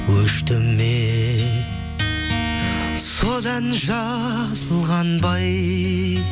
өшті ме содан жаз қанбай